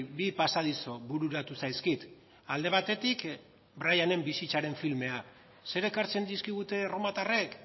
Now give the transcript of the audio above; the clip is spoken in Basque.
bi pasadizo bururatu zaizkit alde batetik brianen bizitzaren filma zer ekartzen dizkigute erromatarrek